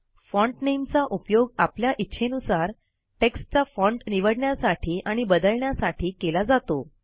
font नामे चा उपयोग आपल्या इच्छेनुसार टेक्स्टचा फाँट निवडण्यासाठी आणि बदलण्यासाठी केला जातो